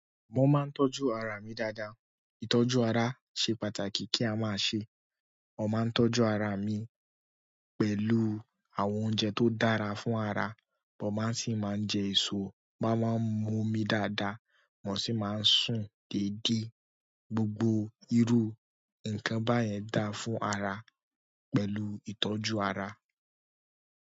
Mo máa ń tọ́jú ara mi dáadáa. Ìtọ́jú ara ṣe pàtàkì kí a máa ṣe. Mo máa ń tọ́jú ara mi pẹ̀lú àwọn oúnjẹ tó dára fún ara, mo máa sì máa ń jẹ èso, mo máa ń mu omi dáadáa, mo sì máa ń sùn déédé. Gbogbo irú nǹkan báyẹn dáa fún ara pẹ̀lú ìtọ́jú ara.